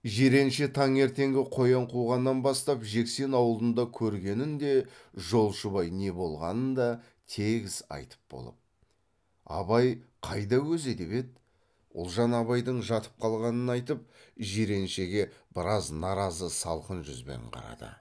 жиренше таңертеңгі қоян қуғаннан бастап жексен аулында көргенін де жолшыбай не болғанын да тегіс айтып болып абай қайда өзі деп еді ұлжан абайдың жатып қалғанын айтып жиреншеге біраз наразы салқын жүзбен қарады